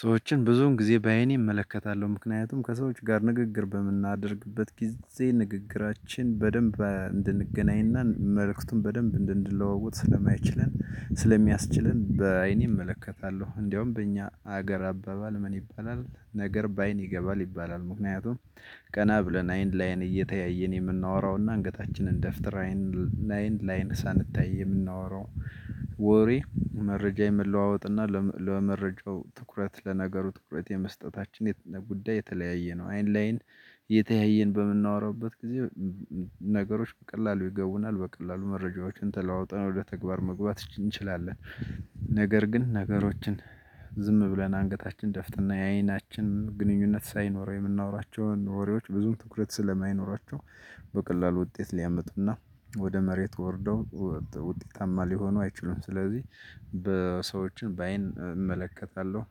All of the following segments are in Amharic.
ሰዎችን ብዙውን ጊዜ በአይኔ እመለከታለሁ ምክንያቱም ከሰዎች ጋር ንግግር በምናደርግበት ጊዜ ንግግራችን በደንብ እንድንገናኝና መልእክቱን በደንብ እንድንለዋወጥ ስለማይችለን ስለሚያስችለን በአይኔ እመለከታለሁ እንደውም በእኛ ሀገር አባባል ምን ይባላል ነገር በአይን ይገባል ይባላል ምክንያቱም ቀና ብለን አይን ለአይን እየተያየን የምናወራውና አንገታችንን ደፍተር ለአይን ለአይን ሳንታይ የምናወራው ወሬ መረጃ የመለዋወጥና ለመረጃው ትኩረት ለነገሩ ትኩረት የመስጠታችን ጉዳይ የተለያየ ነው። አይን ለአይን እየተያየን በምናወራበት ጊዜ ነገሮች በቀላሉ ይገቡናል በቀላሉ መረጃዎችን ተለዋውጠን ወደ ተግባር መግባት እንችላለን። ነገር ግን ነገሮችን ዝም ብለን አንገታችንን ደፍተን የአይናችን ግንኙነት ሳይኖረው የምናወራቸውን ወሬዎች ብዙም ትኩረት ስለማይኖራቸው በቀላሉ ውጤት ሊያመጡና ወደ መሬት ወርደው ውጤታማ ሊሆኑ አይችሉም። ስለዚህ ሰዎችን በአይን እመለከታለሁ።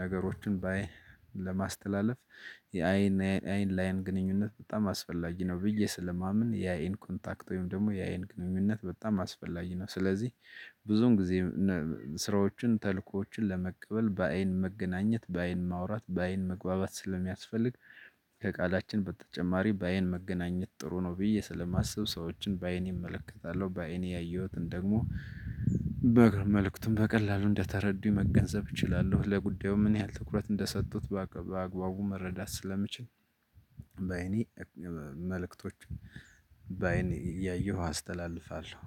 ነገሮችን በአይን ለማስተላለፍ የአይን አይን ላይን ግንኙነት በጣም አስፈላጊ ነው። ብዬ ስለማምን የአይን ኮንታክት ወይም ደግሞ የአይን ግንኙነት በጣም አስፈላጊ ነው። ስለዚህ ብዙውን ጊዜ ስራዎችን ተልእኮዎችን ለመቀበል በአይን መገናኘት በአይን ማውራት በአይን መግባባት ስለሚያስፈልግ ከቃላችን በተጨማሪ በአይን መገናኘት ጥሩ ነው ብዬ ስለማስብ ሰዎችን በአይኔ እመለከታለሁ። በአይኔ ያየሁትን ደግሞ መልእክቱን በቀላሉ እንደተረዱኝ መገንዘብ እችላለሁ። ለጉዳዩ ምን ያህል ትኩረት እንደሰጡት በአግባቡ መረዳት ስለምችል። በአይኔ መልእክቶች አይኔ እያየሁ አስተላልፋለሁ።